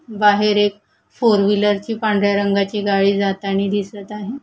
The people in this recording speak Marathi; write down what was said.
बाहेर एक फोर व्हीलर ची पांढऱ्या रंगाची गाडी जातानी दिसत आहे.